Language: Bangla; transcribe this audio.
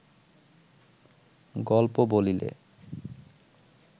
গল্প বলিলে